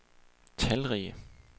talrige